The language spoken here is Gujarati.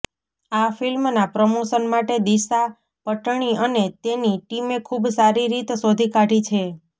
આ ફિલ્મના પ્રમોશન માટે દિશા પટ્ટણી અને તેની ટીમે ખુબ સારી રીત શોધી કાઢી છે